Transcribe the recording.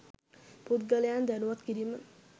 පුද්ගලයන් දැනුවත් කිරීම